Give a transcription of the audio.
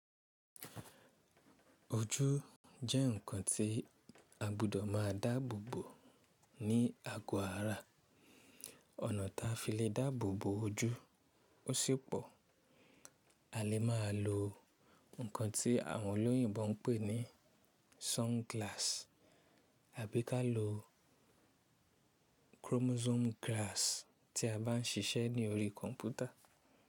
Ojú jẹ́ ǹkan tí a gbọdọ̀ máa dáàbòbò ní ago ara. Ọ̀nà tí a fi le dáàbòbò ojú ó sì pọ̀. A lè má a lo ǹkan tí àwọn olóyìnbo ń pè ní sunglass àbí ká lo chromosome glass tí a bá ń ṣiṣẹ́ ní orí kọ̀mpútà.